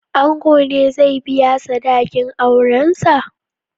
Ango ne zai biya sadakin aurensa?